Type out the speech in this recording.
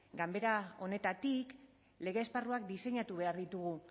ganbera honetatik lege esparruak diseinatu behar ditugu